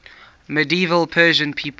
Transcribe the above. medieval persian people